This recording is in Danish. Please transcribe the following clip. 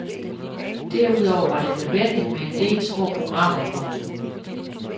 Derudover var det nødvendigt med en del små programmer. punktum